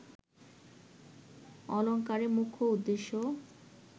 অলঙ্কারের মুখ্য উদ্দেশ্য